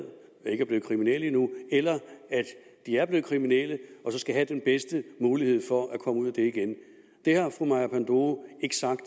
men ikke er blevet kriminelle endnu eller er blevet kriminelle og så skal have den bedste mulighed for at komme ud af det igen det har fru maja panduro ikke sagt